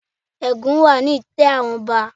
Ègún wà ni itẹ́ àwọn ọba.